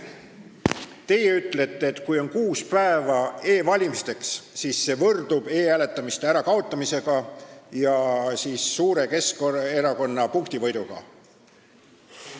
Teie ütlete, et kui on kuus päeva aega e-valimiseks, siis see võrdub e-hääletamise ärakaotamisega ja Keskerakonna suure punktivõiduga.